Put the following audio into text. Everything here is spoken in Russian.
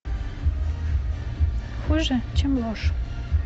хуже чем ложь